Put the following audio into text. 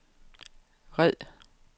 red